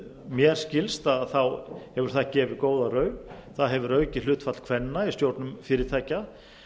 mér skilst hefur það gefið góða raun það hefur aukið hlutfall kvenna í stjórnum fyrirtækja